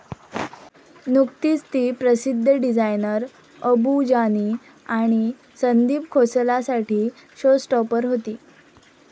नुकतीच ती प्रसिद्ध डिझायनर अबू जानी आणि संदीप खोसलासाठी शो स्टॉपर होती.